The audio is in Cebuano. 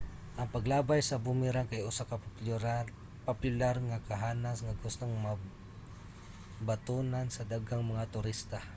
ang paglabay sa boomerang kay usa ka popular nga kahanas nga gustong mabatunan sa daghang mga turista